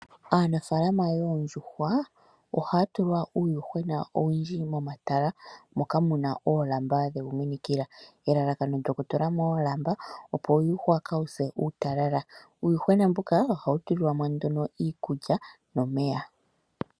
Aanafalama yoondjuhwa ohaya tula uuyuhwena owundji momatala moka muna oolamba dhewu minikila, elalakano lyoku tula mo oolamba opo uuyuhwa kawuu se uutalala. Uuyuhwena mbuka ohawu tulilwa mo omeya niikulya.